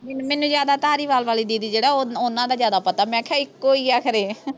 ਮੈਨੂੰ ਜਿਆਦਾ ਧਾਲੀਵਾਲ ਵਾਲੀ ਦੀਦੀ ਜਿਹੜਾ ਓਹਨਾਂ ਦਾ ਜਿਆਦਾ ਪਤਾ ਮੈਂ ਕਿਹਾ ਇੱਕੋ ਈ ਆ ਖਰੇ